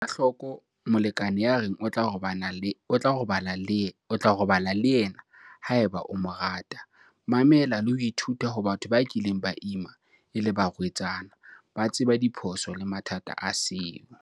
Ela hloko molekane ya reng o tla robala le yena haeba o mo rata. Mamela le ho ithuta ho batho ba kileng ba ima e le barwetsana. Ba tseba diphoso le mathata a seo.